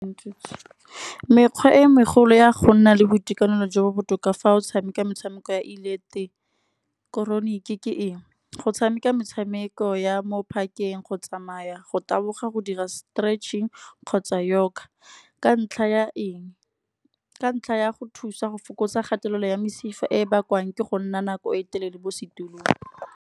Mekgwa e megolo ya go nna le boitekanelo jo bo botoka fa o tshameka metshameko ya ileketroniki, ke ke eng. Go tshameka metshameko ya mo park-eng, go tsamaya, go taboga, go dira stretching kgotsa yoga. Ka ntlha ya eng, ka ntlha ya go thusa go fokotsa kgatelelo ya mesifa, e bakwang ke go nna nako e telele mo setulong.